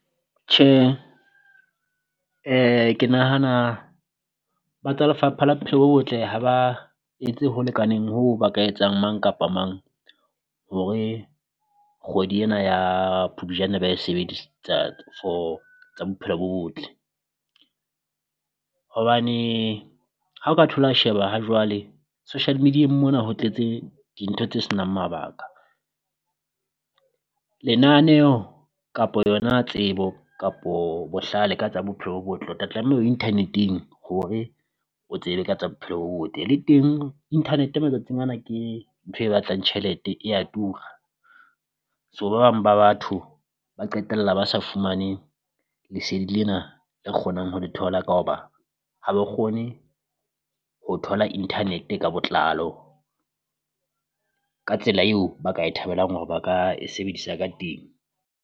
Tjhe ke nahana ba tsa lefapha la bophelo bo botle ha ba etse ho lekaneng hoo ba ka etsang mang kapa mang hore kgwedi ena ya Phupjane ba e sebedistsa for tsa bophelo bo botle, hobane ha o ka thola sheba ha jwale social media-eng mona ho tletse dintho tse senang mabaka. Lenaneho kapo yona tsebo kapo bohlale ka tsa bophelo bo botle o tla tlameha o internet-eng hore o tsebe ka tsa bophelo bo botle le teng, internet matsatsing ana ke ntho e batlang tjhelete e ya tura so ba bang ba batho ba qetella ba sa fumane lesedi lena le kgonang ho le thola ka hoba ha ba kgone ho thola internet ka botlalo ka tsela eo ba ka e thabelang hore ba ka e sebedisa ka teng.